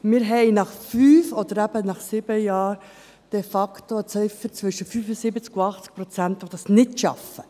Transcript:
Wir haben nach fünf oder eben nach sieben Jahren de facto eine Ziffer zwischen 75 und 80 Prozent, die das nicht schaffen.